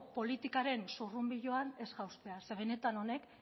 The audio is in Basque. politikaren zurrunbiloan ez jaustea zeren benetan honek